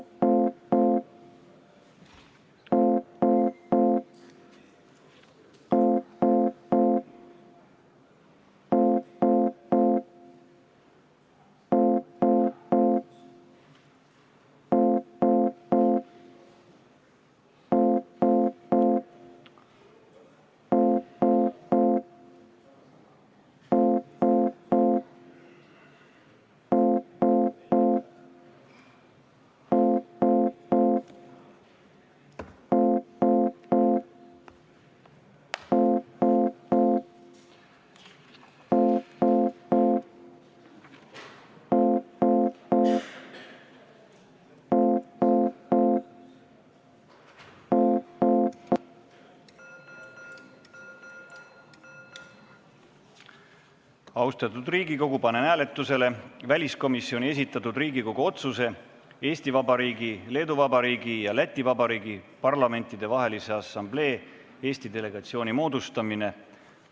Austatud Riigikogu, panen hääletusele väliskomisjoni esitatud Riigikogu otsuse "Eesti Vabariigi, Leedu Vabariigi ja Läti Vabariigi Parlamentidevahelise Assamblee Eesti delegatsiooni moodustamine" eelnõu.